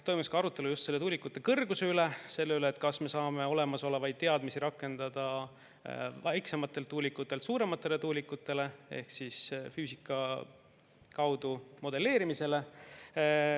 Toimus ka arutelu just tuulikute kõrguse üle, selle üle, kas me saame olemasolevaid teadmisi rakendada väiksemate tuulikute asemel suuremate tuulikute puhul ehk füüsika abil modelleerimist.